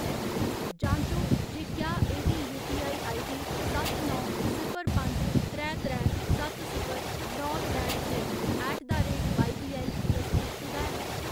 जांचो जे क्या एह्‌‌ दी यूपीआई आईडी सत्त नौ सिफर पंज त्रै त्रै सत्त सिफर नौ त्रै छे ऐट द रेट वाईबीऐल्ल तसदीकशुदा है?